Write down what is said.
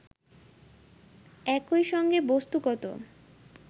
একই সঙ্গে বস্তুগত